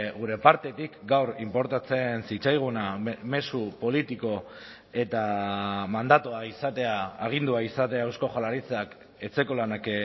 gure partetik gaur inportatzen zitzaiguna mezu politiko eta mandatua izatea agindua izatea eusko jaurlaritzak etxeko lanak